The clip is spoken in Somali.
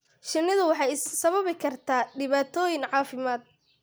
Shinnidu waxay sababi kartaa dhibaatooyin caafimaad.